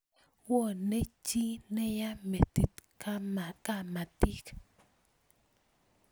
Wone chi neya metit kamatik